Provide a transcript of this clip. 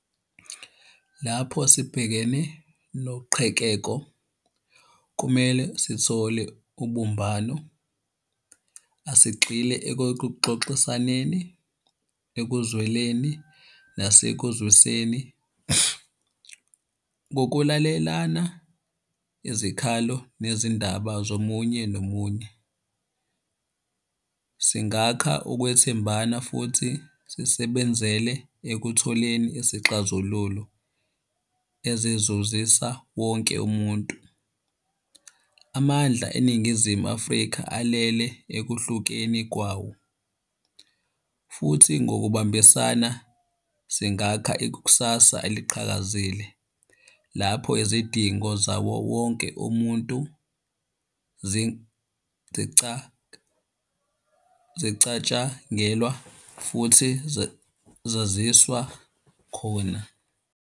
Lapho sibhekene noqhekeko kumele sithole ubumbano. Asigxile ekokuxoxisaneni, ekuzweleni nasekuzwiseni. Ngokulalelana izikhalo nezindaba zomunye nomunye, singakha ukwethembana futhi sisebenzele ekutholeni isixazululo ezizuzisa wonke umuntu. Amandla eNingizimu Afrika alele ekuhlukeni kwawo, futhi ngokubambisana singakha ikusasa eliqhakazile lapho izidingo zawo wonke umuntu zicatshangelwa futhi zaziswa khona.